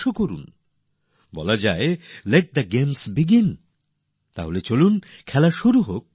প্রবাদে বলা হয় let the games begin তো আসুন খেলা শুরু করে দিই